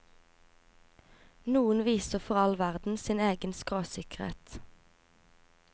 Noen viser for all verden sin egen skråsikkerhet.